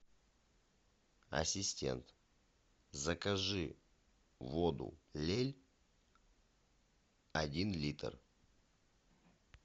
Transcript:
ассистент закажи воду лель один литр